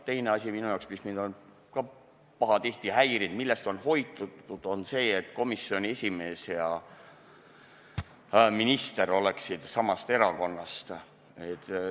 Teine asi, mis on mind ka pahatihti häirinud, millest on aga hoidutud, on see, et komisjoni esimees ja minister oleksid samast erakonnast.